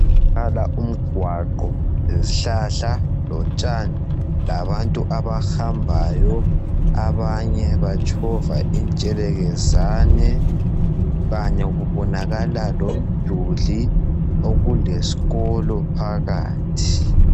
Kubonakala umgwaqo, lesihlahla , lotshani, labantu abahambayo. Abanye batshova intshelelezane kanye kubonakala lomduli okuleskolo phakathi.